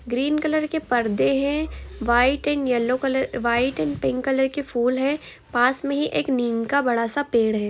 Green colour के परदे है white and yellow colour white and pink colour के फुलहै पास में ही एक निम का बड़ा सा पेड़ है।